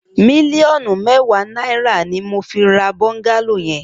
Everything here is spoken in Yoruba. Miliọnú mèwá nàirá ni mó fi rà bọngàló yèn